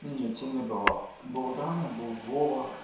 не тя не было был даня был вова